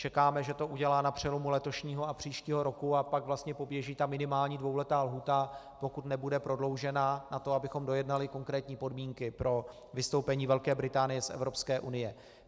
Čekáme, že to udělá na přelomu letošního a příštího roku, a pak vlastně poběží ta minimální dvouletá lhůta, pokud nebude prodloužena, na to, abychom dojednali konkrétní podmínky pro vystoupení Velké Británie z Evropské unie.